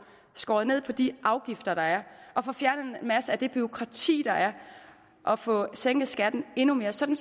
skåret ned på de afgifter der er og få fjernet en masse af det bureaukrati der er og få sænket skatten endnu mere så det